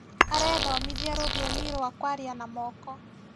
Arethomithia rũthiomi rwa kwaria na moko